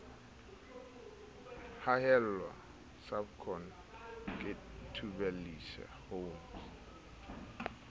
hahelwa servcon ke thubelisha homes